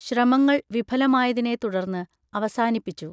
ശ്രമങ്ങൾ വിഫലമായതിനെ തുടർന്ന് അവസാനിപ്പിച്ചു